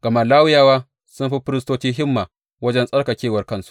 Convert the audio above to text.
Gama Lawiyawa sun fi firistoci himma wajen tsarkakewar kansu.